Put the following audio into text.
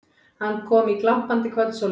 Hann kom í glampandi kvöldsólinni.